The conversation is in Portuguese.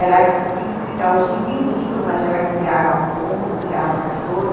Ela tinha um quintalzinho minúsculo, mas ela criava pombo, criava cachorro.